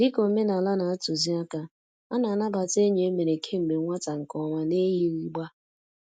Dị ka omenala na-atuzi àkà, a na-anabata enyi e mere kemgbe nwata nke ọma n'eyighị gbá.